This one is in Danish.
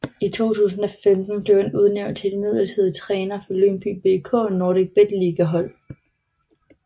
I 2015 blev han udnævnt til midlertidig træner for Lyngby BK NordicBet Liga hold